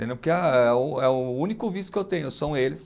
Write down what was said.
Porque a é o, é o único vício que eu tenho, são eles.